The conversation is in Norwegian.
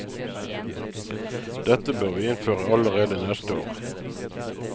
Dette bør vi innføre allerede neste år.